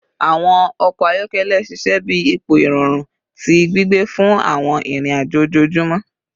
Awọn ọkọ ayọkẹlẹ ṣiṣẹ bi ipo irọrun ti gbigbe fun awọn irin-ajo ojoojumọ